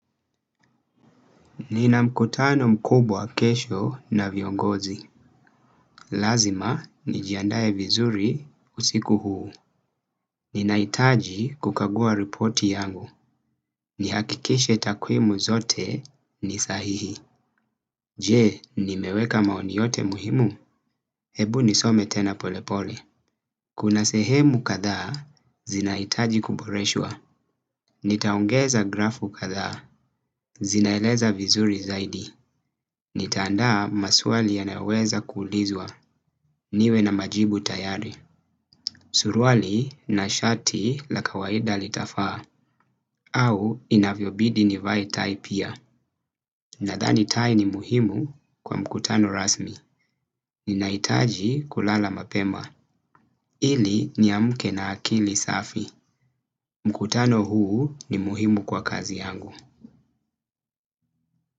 Nina mkutano mkubwa kesho na viongozi. Lazima, nijiandaye vizuri usiku huu. Nina itaji kukagua reporti yangu. Ni hakikishe takuimu zote ni sahihi. Je, nimeweka maoni yote muhimu? Hebu nisome tena polepole. Kuna sehemu katha, zina itaji kuboreshua. Nitaongeza grafu katha, zinaeleza vizuri zaidi. Ni tanda maswali yanaoweza kulizwa niwe na majibu tayari. Surwali na shati la kawaida li tafaa au inavyobidi ni vae tai pia. Nadhani tai ni muhimu kwa mkutano rasmi. Ninaitaji kulala mapema ili niamuke na akili safi. Mkutano huu ni muhimu kwa kazi yangu.